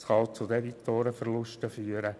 Es kann auch zu Debitorenverlusten führen.